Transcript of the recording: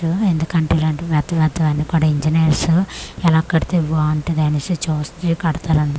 అన్ ఎందుకంటే ఇలాంటి మెత్త మెత్త వన్నికూడా ఇంజనీర్స్ ఎలా కడితే బాగుంటాది అనేసి చుస్తా కడతారు అన్నమాట.